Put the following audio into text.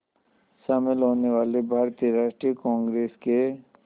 शामिल होने वाले भारतीय राष्ट्रीय कांग्रेस के